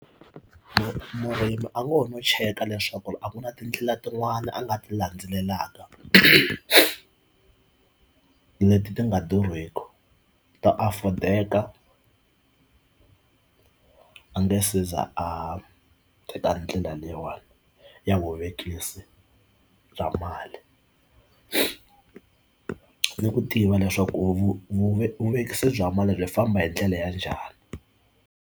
Murimi a ngo ho no cheka leswaku a ku na tindlela tin'wana a nga ti landzelelaka leti ti nga durhiki to afford-eka a nga seza a teka ndlela leyiwani ya vuvekisi bya mali ni ku tiva leswaku vuvekisi bya mali ri famba hi ndlela ya njhani.